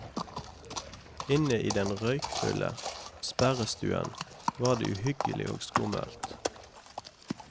Inne i den røkfulle sperrestuen var det uhyggelig og skummelt.